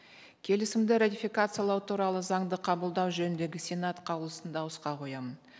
келісімді ратификациялау туралы заңды қабылдау жөніндегі сенат қаулысын дауысқа қоямын